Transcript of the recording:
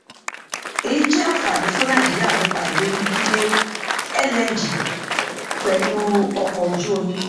èyí jẹ ànfàní fùn nàìjíríà nípa ìrírí gbígbé lng pèlú ọkọ ojú omi